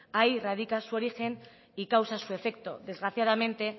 ahí radica su origen y causa su efecto desgraciadamente